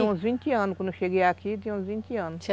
Tinha uns vinte anos, quando eu cheguei aqui, tinha uns vinte anos.